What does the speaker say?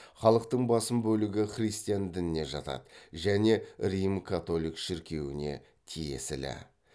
халықтың басым бөлігі христиан дініне жатады және рим католик шіркеуіне тиесілі